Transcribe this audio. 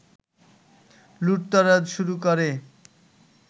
লুটতরাজ শুরু করে